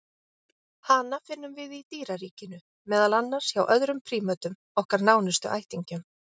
Hana finnum við í dýraríkinu, meðal annars hjá öðrum prímötum, okkar nánustu ættingjum.